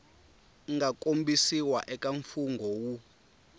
nga kombisiwa eka mfungho wu